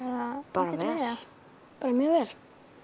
bara vel mjög vel